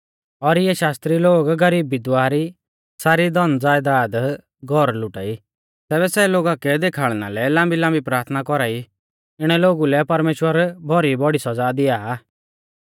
और इऐ शास्त्री लोग गरीब विधवा री सारी धनज़यदाद घौर लुटा ई तैबै सै लोगा कै देखाल़णा लै लाम्बीलाम्बी प्राथना कौरा ई इणै लोगु लै परमेश्‍वर भौरी बौड़ी सौज़ा दिआ आ